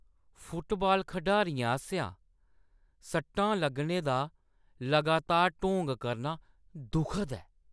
Football खढारियें आसेआ सट्टां लग्गने दा लगातार ढोंग करना दुखद ऐ।